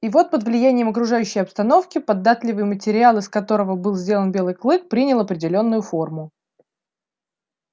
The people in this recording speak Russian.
и вот под влиянием окружающей обстановки податливый материал из которого был сделан белый клык принял определённую форму